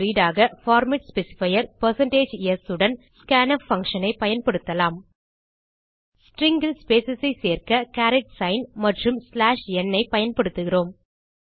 read ஆக format specifier160s உடன் scanf function ஐ பயன்படுத்தலாம் ஸ்ட்ரிங் ல் ஸ்பேஸ் ஐ சேர்க்க கேரட் சிக்ன் மற்றும் n ஐ பயன்படுத்துகிறோம்